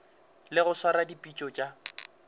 le go swara dipitšo tša